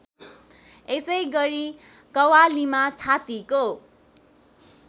यसैगरी कव्वालीमा छातीको